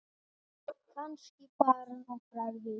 Kannski bara nokkrar vikur.